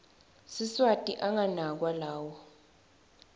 siswati anganakwa lawo